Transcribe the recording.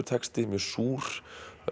texti mjög súr